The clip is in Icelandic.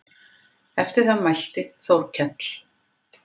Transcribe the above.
Eftir það mælti Þórkell